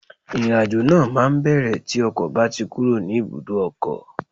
Ìrìn àjò náà máa bẹ̀rẹ̀ tí ọkọ̀ bá ti kúrò ní ibùdó ọkọ̀